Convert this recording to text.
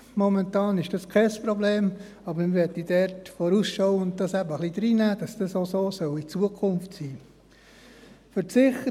Momentan ist dies kein Problem, aber wir möchten es dort vorausschauend ein wenig reinnehmen, weil dies auch in Zukunft so sein soll.